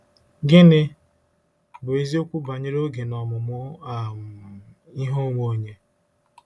Gịnị bụ eziokwu banyere oge na ọmụmụ um ihe onwe onye?